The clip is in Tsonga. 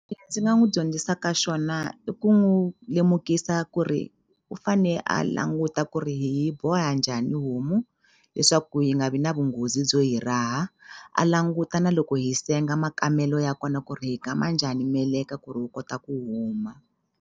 Ndzi nga n'wu dyondzisaka xona i ku n'wu lemukisa ku ri u fane a languta ku ri hi yi boha njhani homu leswaku yi nga vi na vunghozi byo hi raha a languta na loko hi senga makamelo ya kona ku ri hi kama njhani meleka ku ri wu kota ku huma.